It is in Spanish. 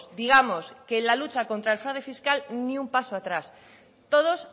digamos que la lucha contra el fraude fiscal ni un paso atrás todos